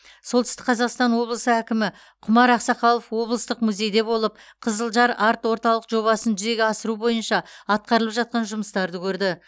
солтүстік қазақстан облысы әкімі құмар ақсақалов облыстық музейде болып қызылжар арт орталық жобасын жүзеге асыру бойынша атқарылып жатқан жұмыстарды көрді